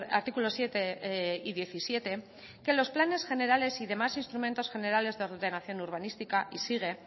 artículo siete y diecisiete que los planes generales y demás instrumento generales de ordenación urbanística y sigue